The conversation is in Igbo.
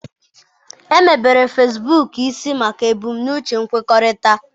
Emebere Fesbuk isi maka ebumnuche nkwukọrịta.